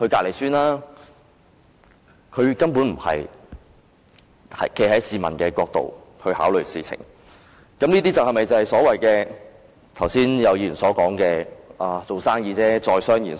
領展根本沒有站在市民的角度考慮事情，這些是否就是剛才有議員所說的，"做生意就是在商言商"？